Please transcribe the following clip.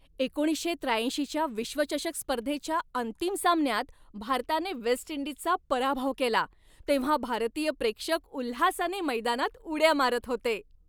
एकोणीसशे त्र्याऐंशीच्या विश्वचषक स्पर्धेच्या अंतिम सामन्यात भारताने वेस्ट इंडिजचा पराभव केला तेव्हा भारतीय प्रेक्षक उल्हासाने मैदानात उड्या मारत होते.